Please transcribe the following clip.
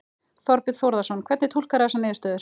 Þorbjörn Þórðarson: Hvernig túlkarðu þessar niðurstöður?